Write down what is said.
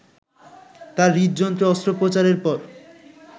তাঁর হৃদযন্ত্রে অস্ত্রোপচারের পর